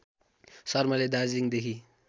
शर्माले दार्जिलिङदेखि